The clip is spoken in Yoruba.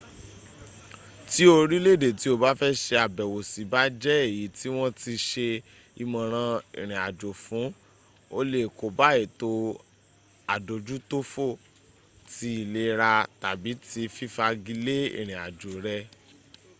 ti orile ede ti o ba fe se abewo si ba je eyi ti won ti se imoran irin ajo fun o le koba eto adojutofo ti ilera tabi ti fifagi le irinajo re